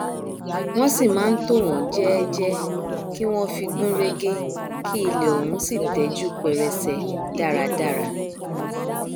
wọn sì máa ntò wọn jẹẹjẹ kí wọn fi gún régé ki ilẹ ọhún sì tẹjú pẹrẹsẹ dáradára